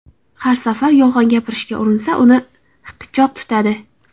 Har safar yolg‘on gapirishga urinsa, uni hiqichoq tutadi.